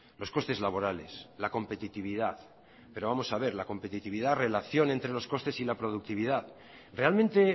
los costes laborales la competitividad pero vamos a ver la competitividad relación entre los costes y la productividad realmente